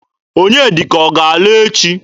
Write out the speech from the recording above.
Onyedika ọ ga-ala echi?